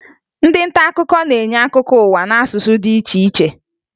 Ndị nta akụkọ na-enye akụkọ ụwa n'asụsụ dị iche iche